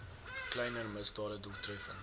kleiner misdade doeltreffend